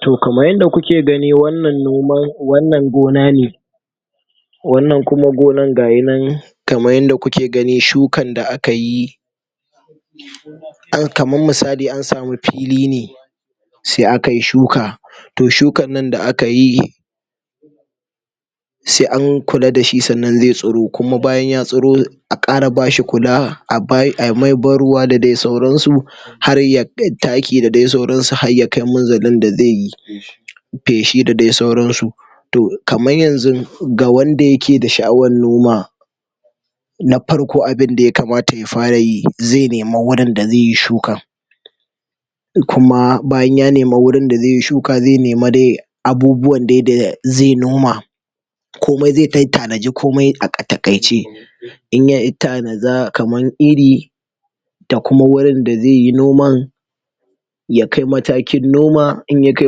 Toh kamar yanda kuke gani wannan noman wannan gona ne wannan kuma gonar gahinan kaman yadda kuke gani shukan da akayi kaman misali an samu fili ne se akayi shuka toh shukan nan da akayi se an kula dashi ze tsuro kuma bayan ya tsuro a ƙara bashi kula a mai ban ruwa da de sauran su harda taki da de sauran su har ya kai munzalin da ze yi feshi da dai sauran su toh kaman yanzu da wanda yake da sha'awan noma na farko abinda ya kamata ya fara yi ze nema wurin da zeyi shuka in kuma bayan ya nema wurin da ze yi shuka ze nima dai ya abubuwan dai da ze noma komai ze kai tanadi komai a takaice inya tanada kaman iri da kuma wurin da zai yi noman ya kai matakin noma inya kai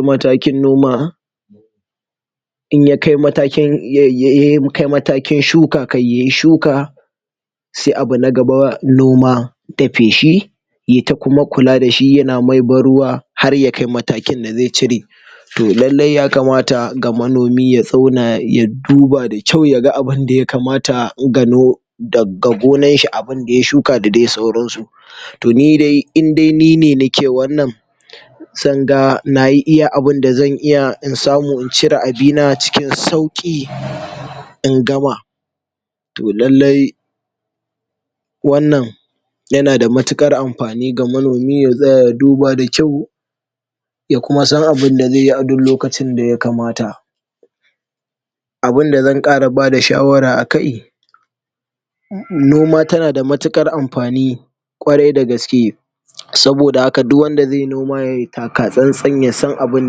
matakin noma inya kai matakin inya kai matakin shuka, kan yayi shuka se abu na gaba noma da feshi yayi ta kuma kula da shi yana mai ban ruwa har ya kai matakin da zai cire toh lailai ya kamata ga manomi ya zauna ya duba da kyau yaga abun daya kamata ya gano daga gonan shi abun da ya shuka da de sauran su toh ni dai indai nine nake wannan zan ga nayi abun da zan iya in samu in cire abina cikin sauki in gama toh lailai wannan yanada mutukar amfani ga manomi ya zauna ya duba da kyau ya kuma san abun da ze yi a duk lokacin da ya kamata abun da zan ƙara bada shawara a kai noma tana da mutukar amfani kwarai da gaske saboda haka duk wanda zaiyi noma yayi takatsantsi ya san abun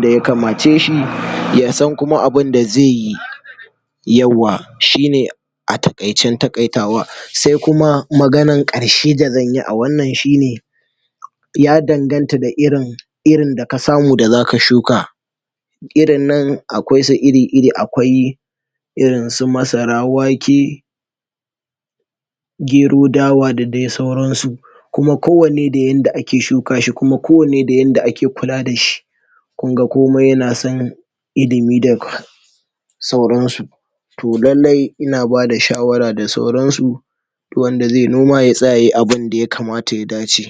daya kamace shi ya san kuma abun da zaiyi yauwa shi ne a taikaicen takaitawa sai kuma maganar karshe da zan yi a wannan shi ne ya danganta da irin iri da ka samu da zaka shuka irin nan akwai su iri iri akwai irin su masar, wake gero, dawa da de sauran su kuma kowanne da inda ake shuka shi kuma kowanne da inda ake kula da shi kunga komai yana son ilimi da sauran su toh lailai ina bada shawara da sauran su wanda zaiyi noma ya tsaya yayi abunda ya kamata ya dace.